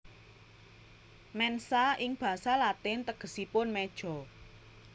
Mensa ing basa Latin tegesipun meja